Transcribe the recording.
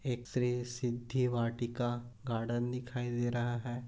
एक श्री सिद्धि वाटिका गार्डन दिखाई दे रहा है।